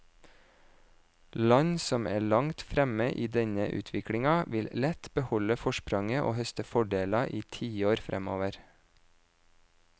Land som er langt fremme i denne utviklingen, vil lett beholde forspranget og høste fordeler i tiår fremover.